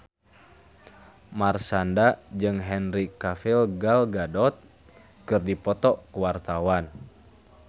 Marshanda jeung Henry Cavill Gal Gadot keur dipoto ku wartawan